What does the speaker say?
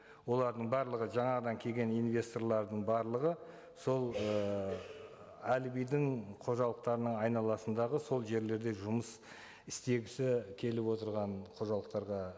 олардың барлығы жаңадан келген инвесторлардың барлығы сол ыыы әлибидің қожалықтарының айналасындағы сол жерлерде жұмыс істегісі келіп отырған қожалықтарға